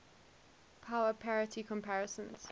power parity comparisons